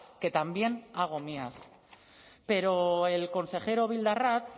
que también hago mías pero el consejero bildarratz